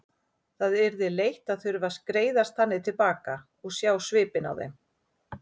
Það yrði leitt að þurfa að skreiðast þannig til baka og sjá svipinn á þeim.